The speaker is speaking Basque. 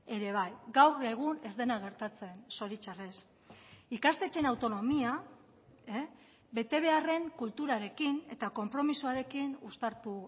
ere bai gaur egun ez dena gertatzen zoritxarrez ikastetxeen autonomia betebeharren kulturarekin eta konpromisoarekin uztartu